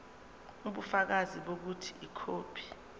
ubufakazi bokuthi ikhophi